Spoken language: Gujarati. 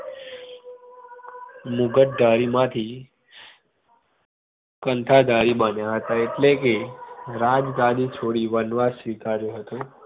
મુગટધારી માંથી કંઠાધારી બન્યા હતા એટલે કે રાજ ગાદી છોડીને વનવાસ સ્વીકાર્યો હતો